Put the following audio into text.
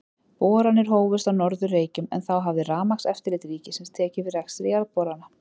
Boranir hófust á Norður-Reykjum, en þá hafði Rafmagnseftirlit ríkisins tekið við rekstri jarðborana.